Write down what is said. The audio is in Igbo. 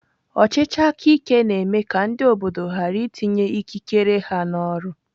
Ọchịchị aka ike na-eme ka ndị obodo ghara itinye ikikere ha n'ọrụ.